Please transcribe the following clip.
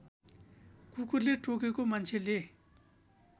कुकुरले टोकेको मान्छेले